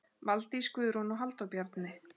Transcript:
Valdís Guðrún og Halldór Bjarni.